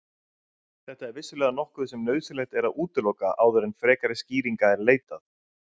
Þetta er vissulega nokkuð sem nauðsynlegt er að útiloka áður en frekari skýringa er leitað.